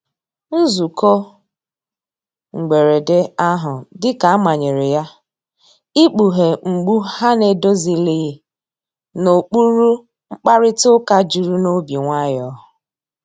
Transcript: Nzụko mgberede ahụ dika a manyere ya, ịkpughe mgbụ ha na‐edozilighi n'okpuru mkparịta uka juru n'obi nwayo.